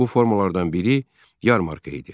Bu formalardan biri yarmarka idi.